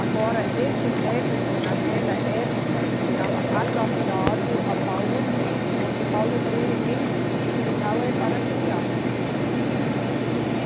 Agora, esse método naquela época estava adaptado a Paulo Freire, porque Paulo Freire em si, eh, não é para criança, né? É, para adulto.